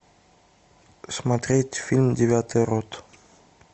смотреть фильм девятая рота